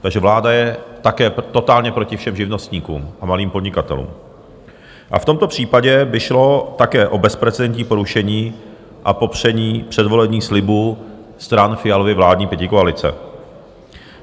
Takže vláda je také totálně proti všem živnostníkům a malým podnikatelům a v tomto případě by šlo také o bezprecedentní porušení a popření předvolebních slibů stran Fialovy vládní pětikoalice.